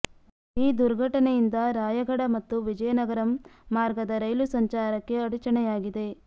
ಈ ದುರ್ಘಟನೆಯಿಂದ ರಾಯಗಢ ಮತ್ತು ವಿಜಯನಗರಂ ಮಾರ್ಗದ ರೈಲು ಸಂಚಾರಕ್ಕೆ ಅಡಚಣೆಯಾಗಿದೆ